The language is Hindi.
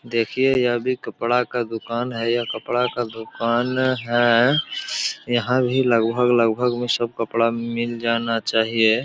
देखिये यह भी कपड़ा का दूकान है यह कपड़ा का दूकान है यहाँ भी लगभग-लगभग में सब कपड़ा मिल जाना चाहिए।